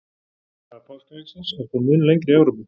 Saga páskaeggsins er þó mun lengri í Evrópu.